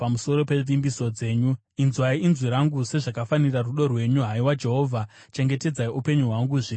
Inzwai inzwi rangu sezvakafanira rudo rwenyu; haiwa Jehovha, chengetedzai upenyu hwangu zviri maererano nemirayiro yenyu.